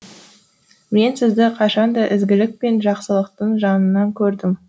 мен сізді қашанда ізгілік пен жақсылықтың жанынан көрдім